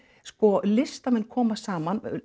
sko listamenn koma saman